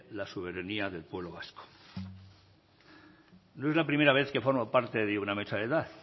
la soberanía del pueblo vasco no es la primera vez que formo parte de una mesa de edad